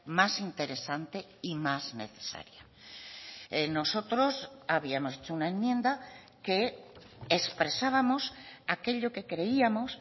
más interesante y más necesaria nosotros habíamos hecho una enmienda que expresábamos aquello que creíamos